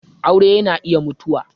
aure yana iya mutuwa.